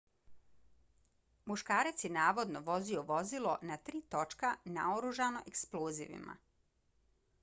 muškarac je navodno vozio vozilo na tri točka naoružano eksplozivima